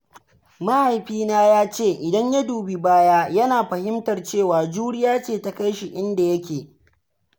Mahaifina ya ce idan ya dubi baya, yana fahimtar cewa juriya ce ta kai shi inda yake.